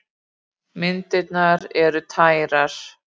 Myndirnar eru tærar.